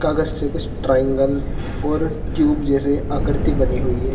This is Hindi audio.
कागज से कुछ ट्रायंगल और ट्यूब जैसे आकृति बनी हुई है।